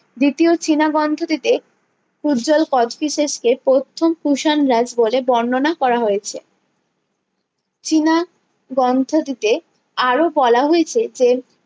দ্বিতীয় চীনা গ্রন্থটিতে পূজ্জ্বল কোচটিসেস কে প্রথম কুষাণ রাজ বলে বর্ণনা করা হয়েছে চীনা গ্রন্থটিতে আরো বলা হয়েছে যে